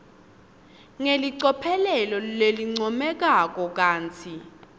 ngelicophelo lelincomekako kantsi